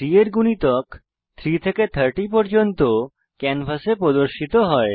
3 এর গুণিতক 3 থেকে 30 পর্যন্ত ক্যানভাসে প্রদর্শিত হয়